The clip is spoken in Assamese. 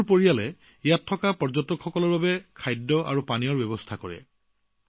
তেওঁৰ ঘৰত থকা পৰ্যটকৰ বাবে তেওঁৰ পৰিয়ালে খাদ্যপানীয়ৰ ব্যৱস্থা কৰে